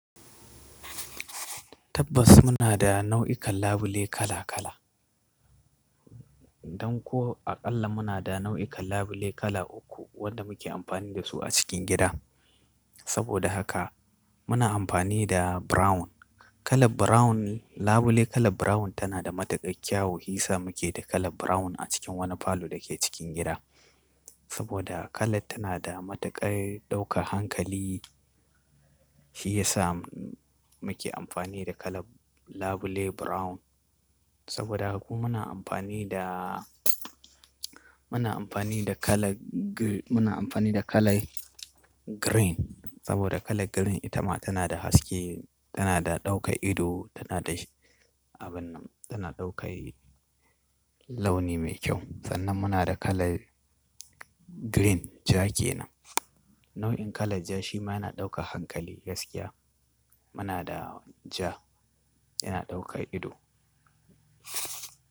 Tabbas muna da nau'ikan labule kala kala. Don ko aƙalla muna da nau'ikan labule kala uku wanda muke amfani da su a cikin gida. Saboda haka muna amfani da brown, kala brown, labule kala brown tana da matuƙar kyau, hisa muke da kala brown a cikin wani falo da ke cikin gida. Saboda kalar tana da matuƙar ɗaukar hankali, shi yasa muke amfani da kalar labule brown. Saboda haka kuma muna amfani da, muna amfani da kala g-- muna amfani da kalai green saboda kala green ita ma tana da haske, tana da ɗaukar ido, tana da abin nan, tana ɗaukar launi mai kyau. Sannan muna da kalar green ja ke nan. Nau'in kalan ja shi ma yana ɗaukar hankali gaskiya. Muna da ja yana ɗaukar ido.